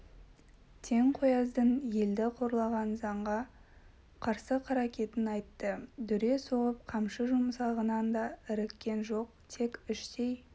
тентекояздың елді қорлаған заңға қарсы қаракетін айтты дүре соғып қамшы жұмсағанын да іріккен жоқ тек іштей